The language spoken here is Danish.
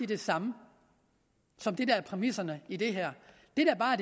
det samme som det der er præmisserne i det her det der bare